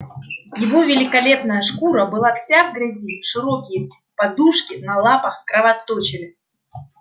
его великолепная шкура была вся в грязи широкие подушки на лапах кровоточили